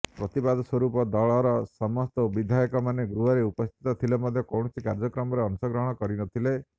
ପ୍ରତିବାଦ ସ୍ୱରୁପ ଦଳର ସମସ୍ତ ବିଧାୟକ ମାନେ ଗୃହରେ ଉପସ୍ଥିତ ଥିଲେ ମଧ୍ୟ କୌଣସି କାର୍ଯ୍ୟକ୍ରମରେ ଅଂଶଗ୍ରହଣ କରିନଥିଲେ